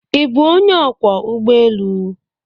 Ị bụ onye ọkwọ ụgbọ elu?